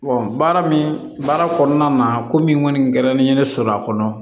baara min baara kɔnɔna na ko min kɔni kɛra ne ye ne sɔrɔ a kɔnɔ